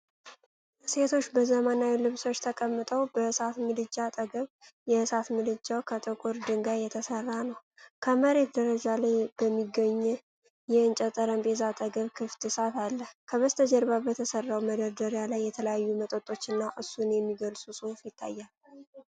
ሴቶች በዘመናዊ ልብሶች ተቀምጠው በእሳት ምድጃ አጠገብ፣ የእሳት ምድጃው ከጥቁር ድንጋይ የተሠራ ነው፣ ከመሬት ደረጃ ላይ በሚገኝ የእንጨት ጠረጴዛ አጠገብ ክፍት እሳት አለ። ከበስተጀርባ በተሠራው መደርደሪያ ላይ የተለያዩ መጠጦችና እሱን የሚገልጽ ጽሑፍ ይታያል።